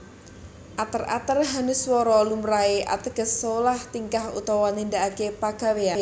Ater ater hanuswara lumrahé ateges solah tingkah utawa nindakaké pagawèyan